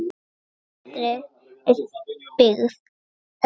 Betri er dyggð en dýr ætt.